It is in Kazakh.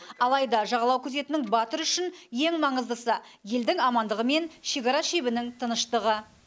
алайда жағалау күзетінің батыры үшін ең маңыздысы елдің амандығы мен шекара шебінің тыныштығы